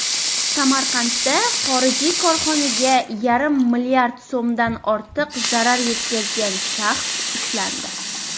Samarqandda xorijiy korxonaga yarim mlrd so‘mdan ortiq zarar yetkazgan shaxs ushlandi.